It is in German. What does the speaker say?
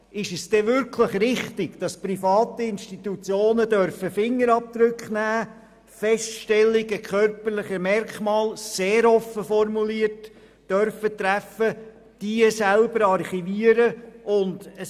Ist es wirklich richtig, dass private Institutionen Fingerabdrücke nehmen dürfen, die Feststellung körperlicher Merkmale – was sehr offen formuliert ist – erlaubt ist und sie diese selber archivieren dürfen?